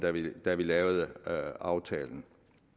da vi lavede aftalen